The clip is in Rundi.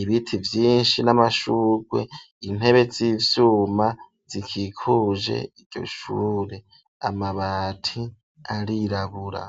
ibiti vyinshi n'amashugwe, intebe z'ivyuma zikikuje iryo shure, amabati arirabura.